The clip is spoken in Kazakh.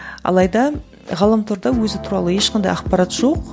алайда ғаламторда өзі туралы ешқандай ақпарат жоқ